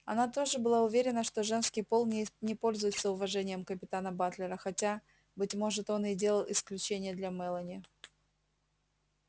она тоже была уверена что женский пол не пользуется уважением капитана батлера хотя быть может он и делал исключение для мелани